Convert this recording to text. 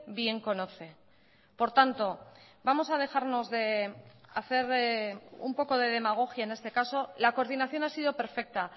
bien conoce por tanto vamos a dejarnos de hacer un poco de demagogia en este caso la coordinación ha sido perfecta